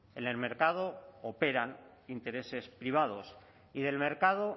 en el mercado operan intereses privados y del mercado